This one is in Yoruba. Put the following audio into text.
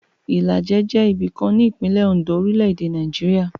Ìlàjẹ jẹ́ ibìkan ní ìpínlẹ̀ Oǹdó, orílẹ̀-èdè Nàìjíríà.